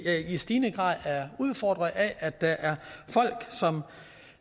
i stigende grad er udfordret af at der er folk som